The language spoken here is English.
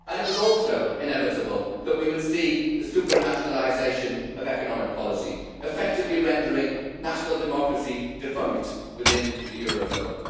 It was also inevitable that we would see the supranationalisation of economic policy, effectively rendering national democracy defunct within the eurozone.